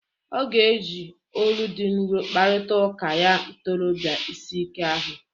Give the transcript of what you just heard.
Ọ ga-eji olu dị nrọ kparịta ụka ya ntorọbịa ịsị ike ahụ.